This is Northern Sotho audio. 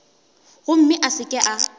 gomme a se ke a